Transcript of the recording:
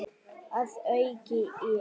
Að auki eru